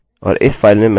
अतः चलिए लाइन 3 पर आते हैं